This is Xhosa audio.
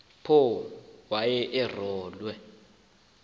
apho wayede arolwe